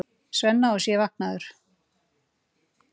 Svenna og sé vaknaður.